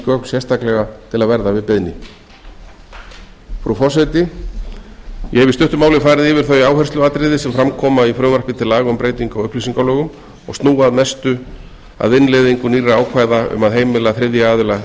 gögn sérstaklega til að verða við beiðni frú forseti ég hef í stuttu máli farið yfir þau áhersluatriði sem fram koma í frumvarpi til laga um breytingu á upplýsingalögum og snúa að mestu að innleiðingu nýrra ákvæða um að heimila þriðja aðila endurnot